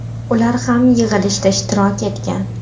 Ular ham yig‘ilishda ishtirok etgan.